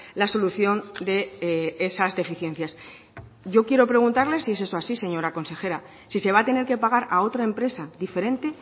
la solución de esas deficiencias yo quiero preguntarle si es eso así señora consejera si se va a tener que pagar a otra empresa diferente